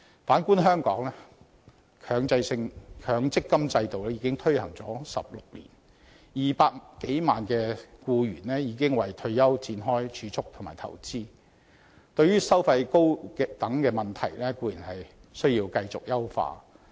反觀香港，強積金制度已推行16年 ，200 多萬名僱員已為退休展開儲蓄和投資，對於收費高等問題固然要繼續處理。